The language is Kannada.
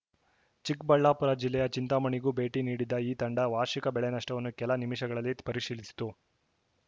ಚಿಕ್ಕಬಳ್ಳಾಪುರ ಜಿಲ್ಲೆಯ ಚಿಂತಾಮಣಿಗೂ ಭೇಟಿ ನೀಡಿದ್ದ ಈ ತಂಡ ವಾರ್ಷಿಕ ಬೆಳೆ ನಷ್ಟವನ್ನು ಕೆಲ ನಿಮಿಷಗಳಲ್ಲಿ ಪರಿಶೀಲಿಸಿತು